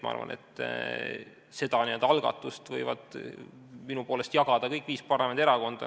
Ma arvan, et seda algatuse au võivad minu poolest jagada kõik viis parlamendierakonda.